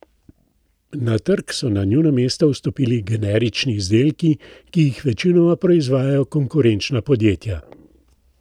Na trg so na njuno mesto vstopili generični izdelki, ki jih večinoma proizvajajo konkurenčna podjetja.